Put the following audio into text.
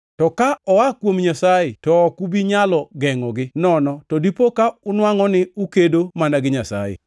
To ka oa kuom Nyasaye, to ok ubi nyalo gengʼogi, nono to dipo ka unwangʼo ni ukedo mana gi Nyasaye!”